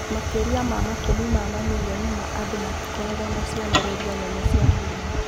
Makĩria ma makũmi ma mamirioni ma andũ matikoragwo na cionereria nene cia mũrimũ.